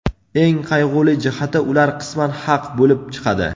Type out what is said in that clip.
Eng qayg‘uli jihati, ular qisman haq bo‘lib chiqadi.